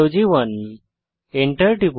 Enter টিপুন